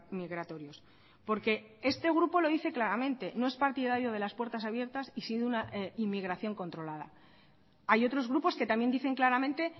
migratorios porque este grupo lo dice claramente no es partidario de las puertas abiertas y sí de una inmigración controlada hay otros grupos que también dicen claramente